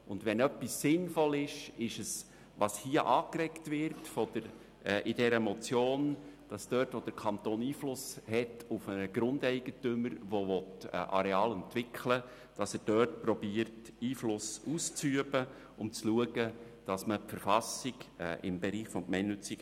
Zudem ist es sinnvoll, dass der Kanton versucht, dort Einfluss auszuüben und zu schauen, dass man die KV im Bereich des gemeinnützigen Wohnungsbaus umsetzt, wo er Einfluss auf einen Grundeigentümer hat, der Areale entwickeln will.